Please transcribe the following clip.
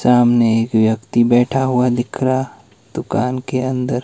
सामने एक व्यक्ति बैठा हुआ दिख रहा दुकान के अंदर।